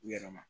U yɛrɛ ma